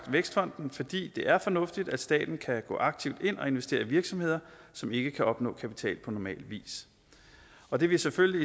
vækstfonden fordi det er fornuftigt at staten kan gå aktivt ind og investere i virksomheder som ikke kan opnå kapital på normal vis og det vil selvfølgelig